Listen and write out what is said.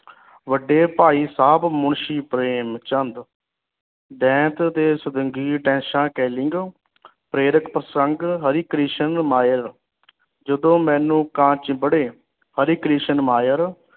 ਵੱਡੇ ਭਾਈ ਸਾਬ ਮੁਨਸ਼ੀ ਪ੍ਰੇਮ ਚੰਦ ਦੇਥ ਦੇ ਪ੍ਰੇਰਤ ਪ੍ਰਸੰਗ ਹਰੀ ਕ੍ਰਿਸ਼ਨ ਮਾਇਲ ਜਦੋ ਮੈਨੂੰ ਕਾਂ ਚਿਬਰੇ ਹਰੀ ਕ੍ਰਿਸ਼ਨ ਮਾਇਰ